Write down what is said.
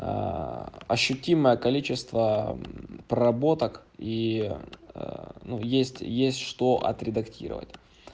ощутимое количество проработок и ну есть есть что отредактировать